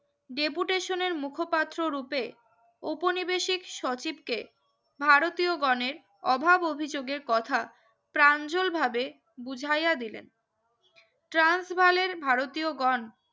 deputation মুখপাত্র রুপে উপনিবেশিক সচিবকে ভারতীয় গনের অভাব অভিযোগের কথা ত্রান জল ভাবে বুঝাইয়া দিলেন ট্রান্স বালের ভারতীয়গন